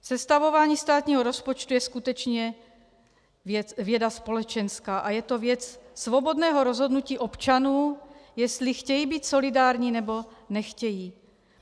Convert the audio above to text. Sestavování státního rozpočtu je skutečně věda společenská a je to věc svobodného rozhodnutí občanů, jestli chtějí být solidární, nebo nechtějí.